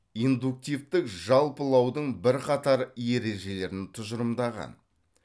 индуктивтік жалпылаудың бірқатар ережелерін тұжырымдаған